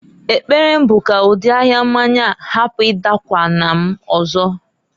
Ekpere m bụ ka ụdị ahia mmanya hapụ ịdakwụna m ọzọ.